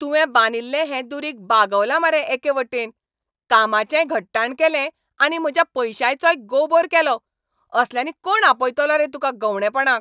तुवें बांदिल्लें हें दुरीग बागवलां मरे एके वटेन. कामाचेंय घट्टाण केलें आनी म्हज्या पयशांचोय गोबोर केलो. असल्यांनी कोण आपयतलो रे तुका गंवंडेपणाक?